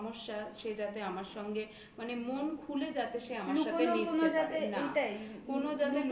কোন সমস্যা সে যাতে আমার সঙ্গে মানে মন খুলে যাতে সে আমার মিশতে পারে।